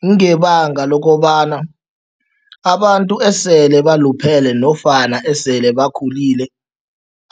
Kungebanga lokobana abantu esele baluphele nofana esele bakhulile,